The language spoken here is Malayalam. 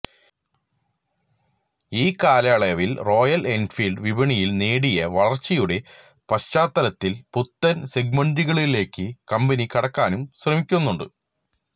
ഇക്കാലയളവില് റോയല് എന്ഫീല്ഡ് വിപണിയില് നേടിയ വളര്ച്ചയുടെ പശ്ചാത്തലത്തില് പുത്തന് സെഗ്മന്റുകളിലേക്ക് കമ്പനി കടക്കാനും ശ്രമിക്കുന്നുണ്ട്